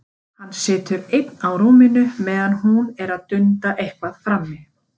Hann situr einn á rúminu meðan hún er að dunda eitthvað frammi.